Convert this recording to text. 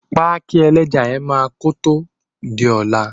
Páìk. ẹlẹ́ja yen máa kòtò di ọ̀la.